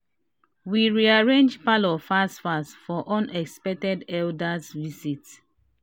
we rearrange parlour fast fast for unexpected elders' visit